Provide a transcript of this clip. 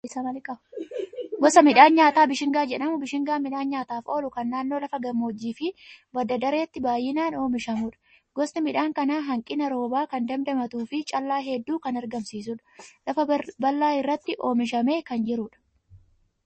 Gosa midhaan nyaataa Bishingaa jedhamu. Bishingaan midhaan nyaataaf oolu kan naannoo lafa gammoojjii fi badda dareetti baay'inaan oomishamudha. Gosti midhaan kanaa hanqina roobaa kan dandamatuu fi callaa hedduu kan argamsiisudha. Lafa bal'aa irratti oomishamee kan jirudha.